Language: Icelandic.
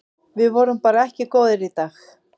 Við vorum bara ekki góðir í dag.